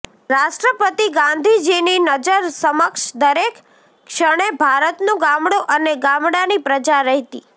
રાષ્ટ્રપતિ ગાંધીજીની નજર સમક્ષ દરેક ક્ષણે ભારતનું ગામડું અને ગામડાંની પ્રજા રહેતી